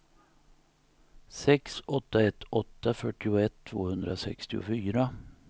sex åtta ett åtta fyrtioett tvåhundrasextiofyra